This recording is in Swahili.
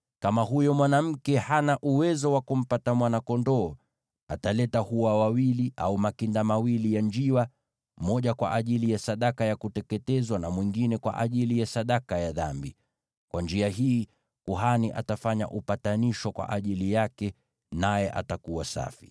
Kama huyo mwanamke hana uwezo wa kumpata mwana-kondoo, ataleta hua wawili au makinda mawili ya njiwa, moja kwa ajili ya sadaka ya kuteketezwa na mwingine kwa ajili ya sadaka ya dhambi. Kwa njia hii, kuhani atafanya upatanisho kwa ajili yake, naye atakuwa safi.’ ”